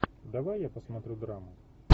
давай я посмотрю драму